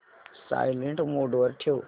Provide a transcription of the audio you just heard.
silent mode वर ठेव